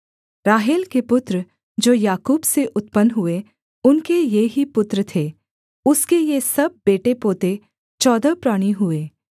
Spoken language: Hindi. राहेल के पुत्र जो याकूब से उत्पन्न हुए उनके ये ही पुत्र थे उसके ये सब बेटेपोते चौदह प्राणी हुए